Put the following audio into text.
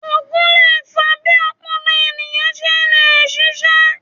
Ògùn lè fa bí ọpọlọ ènìyàn ṣe le ṣiṣé